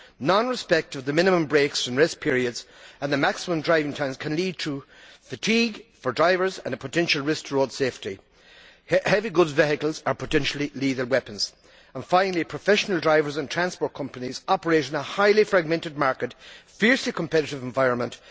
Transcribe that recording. Non respect of the minimum breaks, rest periods and the maximum driving times can lead to fatigue for drivers and cause a potential risk to road safety. Heavy goods vehicles are potentially lethal weapons. Finally, professional drivers and transport companies operate in a highly fragmented market and a fiercely competitive environment.